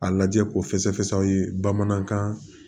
A lajɛ ko fɛsɛfɛsɛ aw ye bamanankan